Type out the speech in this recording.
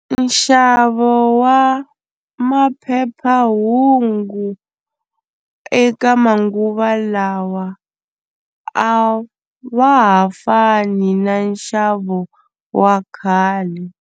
Nxavo wa maphephahungu eka manguva lawa a wa ha fani na nxavo wa khale.